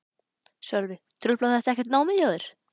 Sölvi: Truflar þetta ekkert námið hjá þér?